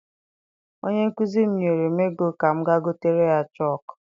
Onye nkụzi m nyere m ego ka m ga gotere ya chọku.